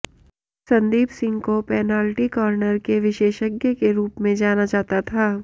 संदीप सिंह को penalty corner के विशेषज्ञ के रूप में जाना जाता था